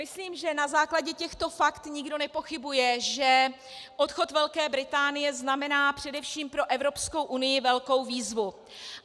Myslím, že na základě těchto fakt nikdo nepochybuje, že odchod Velké Británie znamená především pro Evropskou unii velkou výzvu.